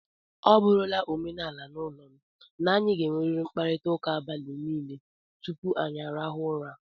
Ọ bụrụla omenala n'ụlọ m, na anyị ga-enwerịrị mkparịtaụka abalị niile tupu anyị arahụọ ụra.